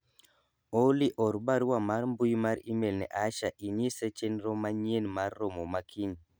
Olly or barua mar mbui mar email ne Asha e nyise chenro manyien mar romo ma kiny